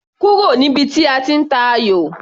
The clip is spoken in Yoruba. Kúrò níbi tí a ti ń tayò!